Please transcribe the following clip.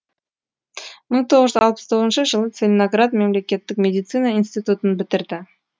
мың тоғыз жүз алпыс тоғызыншы жылы целиноград мемлекеттік медицина институтын бітірді